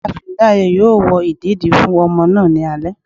Ìyáàfín dáré yóò wò ìdédi fún ọmọ náá ní alé